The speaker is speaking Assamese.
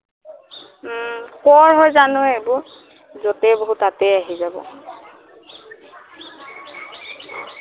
উম কৰ হয় জানো এইবোৰ যতে বহো তাতে আহি যাব